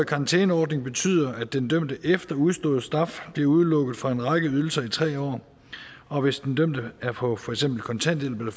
karantæneordning betyder at den dømte efter udstået straf bliver udelukket fra en række ydelser i tre år og hvis den dømte for er på kontanthjælp eller